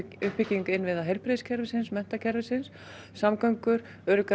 uppbygging innviða heilbrigðiskerfisins menntakerfisins samgöngur